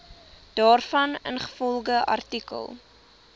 daarvan ingevolge artikel